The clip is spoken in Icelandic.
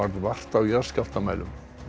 vart á jarðskjálftamælum